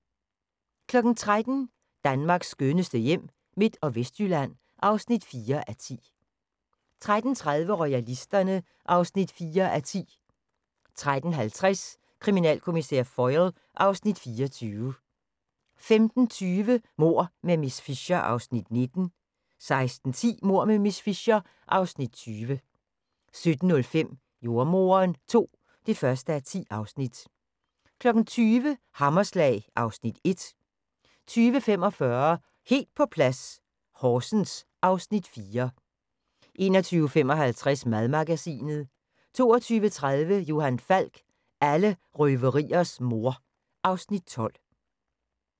13:00: Danmarks skønneste hjem – Midt- og Vestjylland (4:10) 13:30: Royalisterne (4:10) 13:50: Kriminalkommissær Foyle (Afs. 24) 15:20: Mord med miss Fisher (Afs. 19) 16:10: Mord med miss Fisher (Afs. 20) 17:05: Jordemoderen II (1:10) 20:00: Hammerslag (Afs. 1) 20:45: Helt på plads - Horsens (Afs. 4) 21:55: Madmagasinet 22:30: Johan Falk: Alle røveriers moder (Afs. 12)